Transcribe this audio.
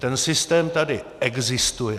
Ten systém tady existuje.